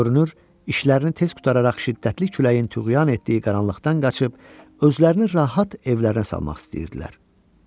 Görünür, işlərini tez qurtararaq şiddətli küləyin tüğyan etdiyi qaranlıqdan qaçıb özlərini rahat evlərə salmaq istəyirdilər.